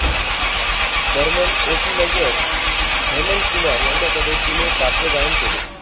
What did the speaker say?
Burman O P Nayyar Hemantkumar यांच्याकडे तिने पार्श्वगायन केले